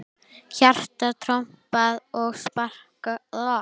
Hjarta trompað og spaða spilað.